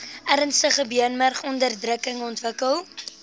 ernstige beenmurgonderdrukking ontwikkel